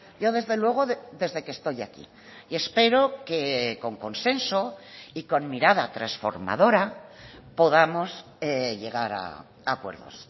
yo desde luego desde que estoy aquí y espero que con consenso y con mirada transformadora podamos llegar a acuerdos